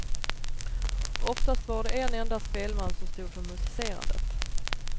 Oftast var det en enda spelman som stod för musicerandet.